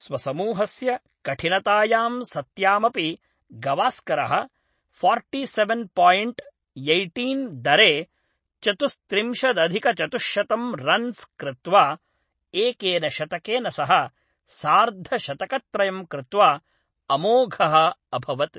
स्वसमूहस्य कठिनतायां सत्यामपि, गवास्करः फार्टिसेवेन् पायिण्ट् यैय्टीन् दरे चतुस्त्रिंशदधिकचतुश्शतं रन्स् कृत्वा, एकेन शतकेन सह सार्धशतकत्रयं कृत्वा, अमोघः अभवत्।